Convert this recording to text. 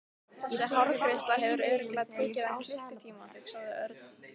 Þessi hárgreiðsla hefur örugglega tekið hann klukkutíma hugsaði Örn.